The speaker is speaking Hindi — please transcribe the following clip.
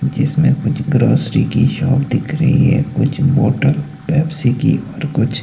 जिसमें कुछ ग्रोसरी की शॉप दिख रही है कुछ बोटल पेप्सी की और कुछ--